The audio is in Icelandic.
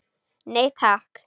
Nei, takk.